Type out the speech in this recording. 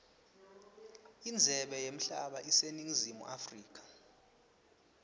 indzebe yemhlaba iseningizimu africa